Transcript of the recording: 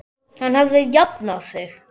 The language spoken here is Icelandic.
Hann hafði jafnað sig.